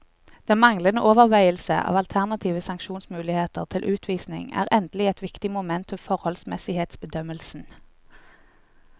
Den manglende overveielse av alternative sanksjonsmuligheter til utvisning er endelig et viktig moment ved forholdsmessighetsbedømmelsen.